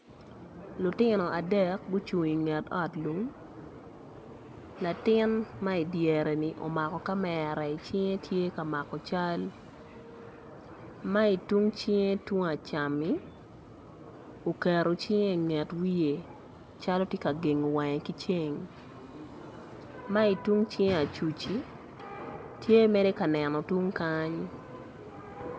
Lutino adek gucung i nget ot lum latin ma i dyereni omako kamera i cingge tye ka mako cal ma tung icingge tung acammi ukeru cingge inget wiye calo ti ka gengo wangge ki ceng ma i tung cinge acuci tye mere ka neno tung kany